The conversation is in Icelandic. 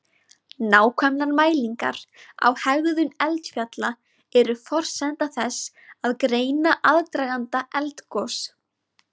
Nákvæmar mælingar á hegðun eldfjalla eru forsenda þess að greina aðdraganda eldgos.